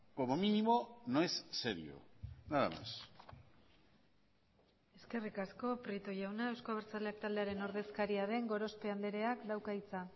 como mínimo no es serio nada más eskerrik asko prieto jauna euzko abertzaleak taldearen ordezkaria den gorospe andreak dauka hitza